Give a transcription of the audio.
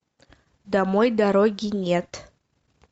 домой дороги нет